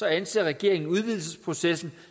anser regeringen udvidelsesprocessen